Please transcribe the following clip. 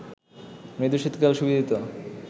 মৃদু শীতকাল সুবিদিত